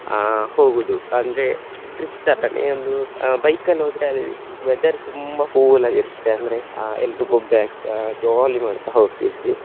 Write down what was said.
ಅಹ್ ಹೋಗುವುದು ಅಂದ್ರೆ trip ತರನೇ ಒಂದು ಅಹ್ bike ಅಲ್ಲಿ ಹೋದ್ರೆ ಅಲ್ಲಿ weather ತುಂಬಾ cool ಆಗಿ ಇರುತ್ತೆ ಅಂದ್ರೆ ಅಹ್ ಎಲ್ರೂ ಬೊಬ್ಬೆ ಹಾಕ್ತಾ jolly ಮಾಡ್ತಾ ಹೋಗ್ತಿದ್ವಿ.